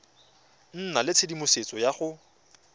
nna le tshedimosetso ya go